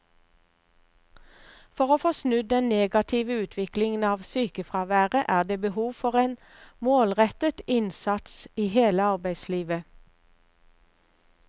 For å få snudd den negative utviklingen av sykefraværet er det behov for en målrettet innsats i hele arbeidslivet.